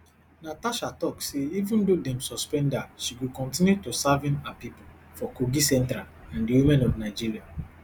natasha tok say say even though dem suspend her she go kontinu to serving her pipo for kogi central and di women of nigeria